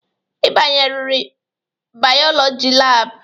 Ị banyeririr bayolọjị lab.